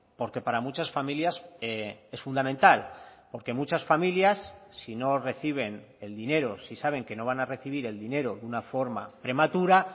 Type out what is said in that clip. porque para muchas familias es fundamental porque muchas familias si no reciben el dinero si saben que no van a recibir el dinero de una forma prematura